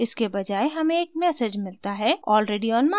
इसके बजाए हमें एक message मिलता है: already on master